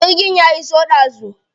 Jirgin ya iso ɗazu.